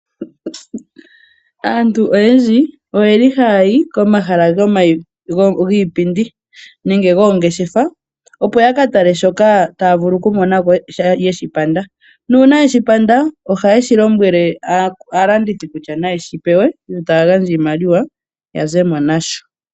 Aantu oyendji ohaayi komahala giipindi nenge goongeshefa opo yakatale shoka yeshi panda nuuna, nuuna yeshi panda ohaalombwele aalandithi yeshi pewe yo taagandja iimaliwa ya zemo nasho.